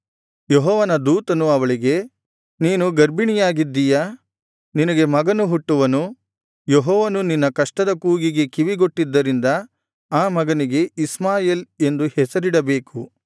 ಯೆಹೋವನ ದೂತನು ಅವಳಿಗೆ ನೀನು ಗರ್ಭಿಣಿಯಾಗಿದಿಯಾ ನಿನಗೆ ಮಗನು ಹುಟ್ಟುವನು ಯೆಹೋವನು ನಿನ್ನ ಕಷ್ಟದ ಕೂಗಿಗೆ ಕಿವಿಗೊಟ್ಟಿದ್ದರಿಂದ ಆ ಮಗನಿಗೆ ಇಷ್ಮಾಯೇಲ್ ಎಂದು ಹೆಸರಿಡಬೇಕು